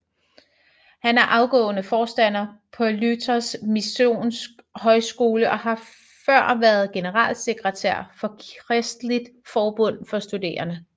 Han er afgående forstander på Luthersk Missionsk Højskole og har før været generalsekretær for Kristeligt Forbund for Studerende